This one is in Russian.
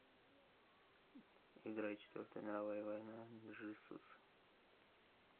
играй четвертая мировая война джизус